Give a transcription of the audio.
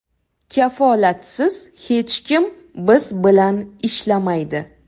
Kafolatsiz hech kim biz bilan ishlamaydi.